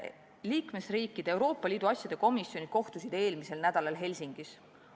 Liikmesriikide Euroopa Liidu asjade komisjonid kohtusid eelmisel nädalal Helsingis.